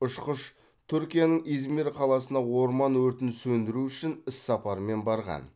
ұшқыш түркияның измир қаласына орман өртін сөндіру үшін іссапармен барған